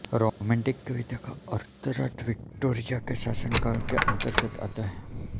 romantic कविता का उत्तरार्ध विक्टोरिया के शासनकाल के अंतर्गत आता है